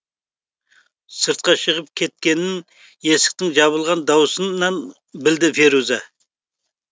сыртқа шығып кеткенін есіктің жабылған даусынан білді феруза